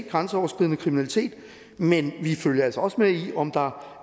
grænseoverskridende kriminalitet men vi følger altså også med i om der